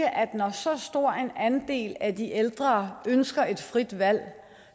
at når så stor en andel af de ældre ønsker et frit valg